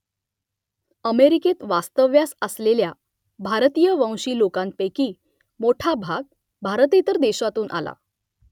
अमेरिकेत वास्तव्यास आलेल्या भारतीयवंशी लोकांपैकी मोठा भाग भारतेतर देशांतून आला